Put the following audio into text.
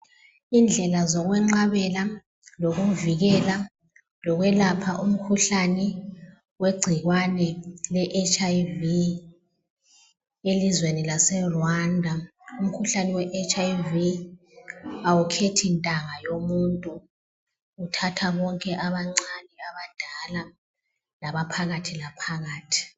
Indlela zokweqabela lokuvikela, lokwelapha umkhuhlane wengcikwane leHIV elizweni laseRwanda. Umkhuhlane weHIV awukhethi ntanga yomuntu uthatha konke abancane ,abadala, labaphakathi laphakathi.